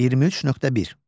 23.1.